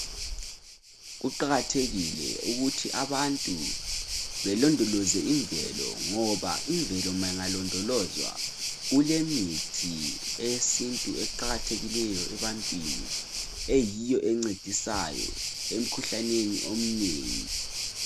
Kuqakathekile ukuthi abantu belondoloze imvelo ngoba imvelo ingalondolozwa kulemithi eyesintu eqakathekileyo ebantwini eyiyo encedisayo emkhuhlaneni omnengi